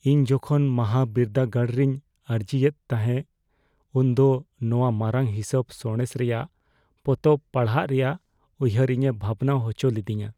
ᱤᱧ ᱡᱚᱠᱷᱚᱱ ᱢᱟᱦᱟᱵᱤᱨᱫᱟᱹᱜᱟᱲ ᱨᱤᱧ ᱟᱨᱡᱤᱭᱮᱫ ᱛᱟᱦᱮᱸ ᱩᱱᱫᱚ ᱱᱚᱶᱟ ᱢᱟᱨᱟᱝ ᱦᱤᱥᱟᱹᱵᱽ ᱥᱟᱬᱮᱥ ᱨᱮᱭᱟᱜ ᱯᱚᱛᱚᱵ ᱯᱟᱲᱦᱟᱜ ᱨᱮᱭᱟᱜ ᱩᱭᱦᱟᱹᱨ ᱤᱧᱮ ᱵᱷᱟᱵᱽᱱᱟ ᱦᱚᱪᱚ ᱞᱤᱫᱤᱧᱟ ᱾